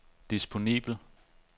disponibel